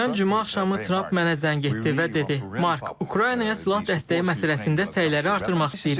Ötən cümə axşamı Tramp mənə zəng etdi və dedi: "Mark, Ukraynaya silah dəstəyi məsələsində səyləri artırmaq istəyirik."